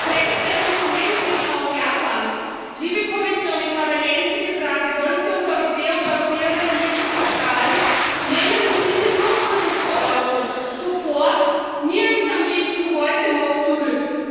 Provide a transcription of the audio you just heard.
Grenzwerte für Lebensmittel aus Japan Liebe Kommission, ich habe eine einzige Frage Wollen Sie uns Europäerinnen und Europäer wirklich verstrahlen? Nehmen Sie diese Durchführungsverordnung sofort am liebsten heute noch zurück!